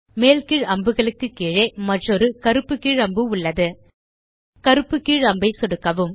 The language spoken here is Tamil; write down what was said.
மேல் கீழ் அம்புகளுக்கு கீழே மற்றொரு கருப்பு கீழ் அம்பு உள்ளது கருப்பு கீழ் அம்பை சொடுக்கவும்